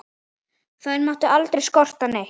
Þær mátti aldrei skorta neitt.